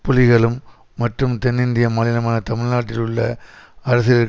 புலிகளும் மற்றும் தென்னிந்திய மாநிலமான தமிழ் நாட்டில் உள்ள அரசியல்